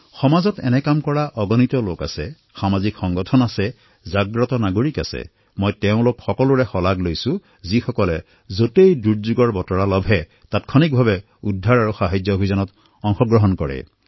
সমাজত এইদৰে কাম কৰা অসংখ্য লোক হওক সামাজিক সংগঠন হওক সজাগ নাগৰিক হওক মই তেওঁলোক সকলোকে প্ৰশংসা কৰিব বিচাৰোঁ যি যিকোনো দুৰ্যোগত মিনিটৰ ভিতৰতে ৰক্ষাৰ বাবে সংবদ্ধ হৈ পৰে